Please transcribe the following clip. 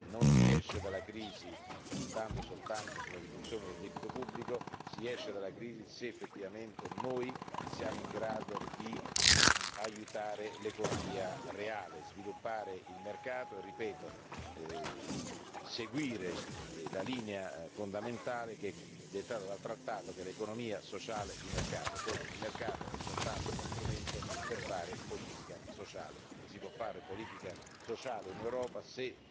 Non si esce dalla crisi solo puntando sulla riduzione del debito pubblico, ma se effettivamente saremo in grado di aiutare l'economia reale, sviluppare il mercato e, ripeto, seguire la linea fondamentale dettata dal trattato, che è l'economia sociale di mercato dove il mercato è soltanto uno strumento per fare politica sociale e si può fare politica sociale in Europa se